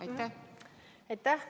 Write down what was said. Aitäh!